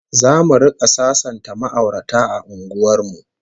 ZAmu rika sasanta ma'aurata a unguwar mu